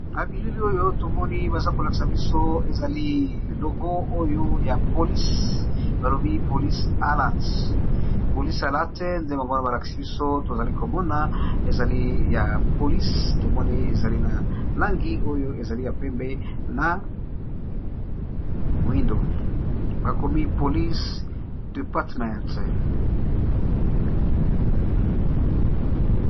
Na bilili oyo tomoni baza kolakisa biso ezali logo oyo ya polise ba lobi polise allat polise allate nde bango wana ba lakisi biso tozali ko mona ezali ya polise tomoni ezali na langi oyo ezali ya pembe na moindo ba komi police departement.